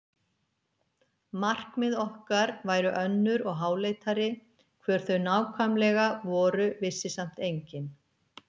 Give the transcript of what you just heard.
Markmið okkar væru önnur og háleitari, hver þau nákvæmlega voru vissi samt enginn.